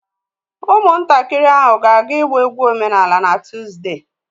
Ụmụntakịrị ahụ na-aga ịgba egwu omenala na Tuzdee